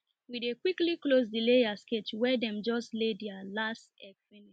we dey quicly close the layers cage wen dem just lay their last egg finish